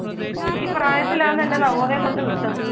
ഈ പ്രായത്തിലാന്ന് എന്നെ നവോദയയിൽ കൊണ്ടെ വിട്ടത്